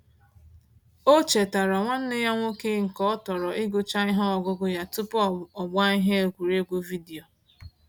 O chetaara nwanne ya nwoke nke ọ tọro igucha ihe ọgụgụ ya tupu ọgbaa ihe egwuregwu vidiyo.